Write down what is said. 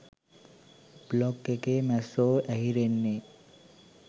Blog එකේ මැස්සො ඇහිරෙන්නෙ?